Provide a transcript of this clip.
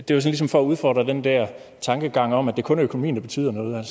det var ligesom for at udfordre den der tankegang om at det kun er økonomien der betyder noget